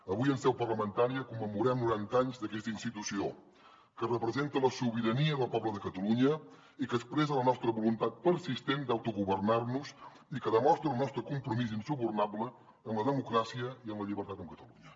avui en seu parlamentària commemorem noranta anys d’aquesta institució que representa la sobirania del poble de catalunya i que expressa la nostra voluntat persistent d’autogovernar nos i que demostra el nostre compromís insubornable amb la democràcia i amb la llibertat amb catalunya